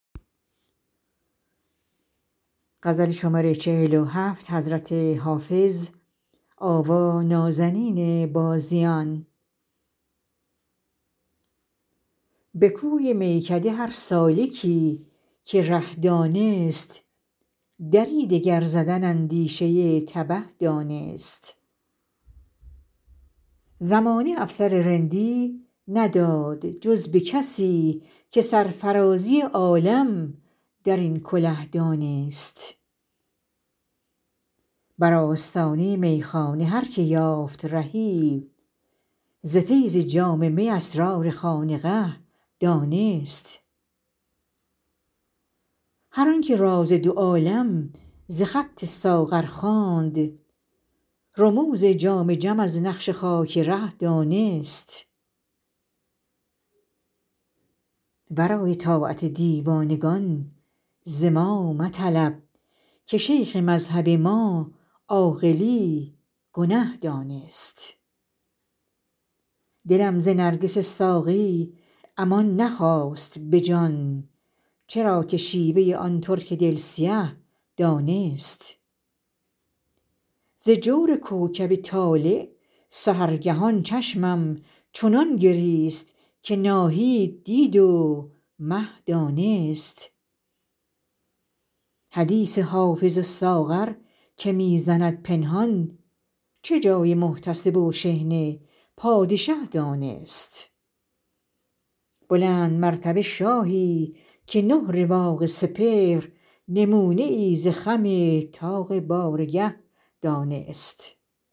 به کوی میکده هر سالکی که ره دانست دری دگر زدن اندیشه تبه دانست زمانه افسر رندی نداد جز به کسی که سرفرازی عالم در این کله دانست بر آستانه میخانه هر که یافت رهی ز فیض جام می اسرار خانقه دانست هر آن که راز دو عالم ز خط ساغر خواند رموز جام جم از نقش خاک ره دانست ورای طاعت دیوانگان ز ما مطلب که شیخ مذهب ما عاقلی گنه دانست دلم ز نرگس ساقی امان نخواست به جان چرا که شیوه آن ترک دل سیه دانست ز جور کوکب طالع سحرگهان چشمم چنان گریست که ناهید دید و مه دانست حدیث حافظ و ساغر که می زند پنهان چه جای محتسب و شحنه پادشه دانست بلندمرتبه شاهی که نه رواق سپهر نمونه ای ز خم طاق بارگه دانست